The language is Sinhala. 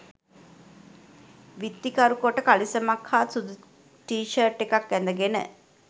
විත්තිකරු කොට කලිසමක් හා සුදු ටී ෂර්ට් එකක් ඇඳගෙන